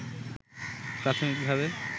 প্রাথমিকভাবে